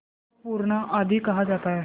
चौक पूरना आदि कहा जाता है